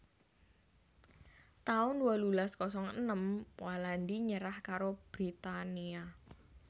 taun wolulas kosong enem Walandi nyerah karo Britania